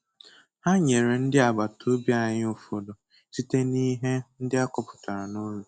Ha nyere ndị agbata obi anyị ụfọdụ site n'ihe ndị akọpụtara n'ụlọ.